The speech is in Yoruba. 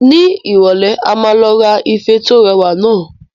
Ní ìrọ̀lẹ́ a máa lọ ra ife tí ó rẹwà naa